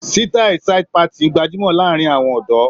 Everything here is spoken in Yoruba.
Sítáì side parting gbajúmọ̀ láàárín àwọn ọ̀dọ́.